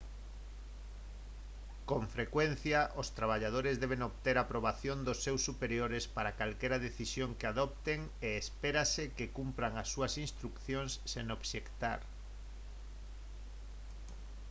con frecuencia os traballadores deben obter a aprobación dos seus superiores para calquera decisión que adopten e espérase que cumpran as súas instrucións sen obxectar